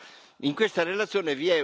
delle nostre istituzioni.